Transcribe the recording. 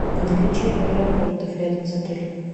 наличие аэропортов рядом с отелем